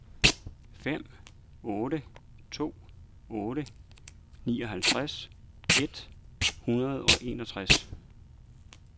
fem otte to otte nioghalvtreds et hundrede og enogtres